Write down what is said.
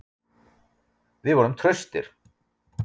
Við vorum traustir.